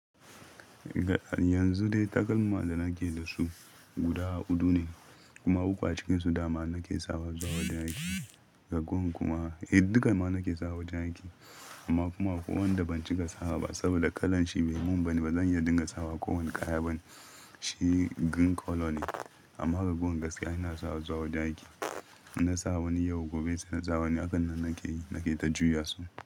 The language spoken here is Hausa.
Yanzu dai takalma da nake da su guda huɗu ne kuma uku a cikinsu dama nake sawa zawa don aiki. Ragowar kuma, eh dukama nake sawa wajen aiki amma kuma ko wanda ban cikasawa ba saboda kalan shi bai mun ba ne bazan iya dinga sawa kowane kaya ba ne. Shi green color ne amma raguwar gaskiya ina sawa zuwa don aiki. Na sa wani yau, gobe sai na sa wani, hakan nan nake, nake ta juya su.